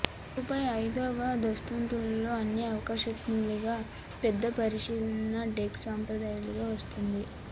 ముప్పై ఐదవ అంతస్తులో అన్ని ఆకాశహర్మ్యాలు పెద్ద పరిశీలన డెక్ సంప్రదాయంగా వస్తోంది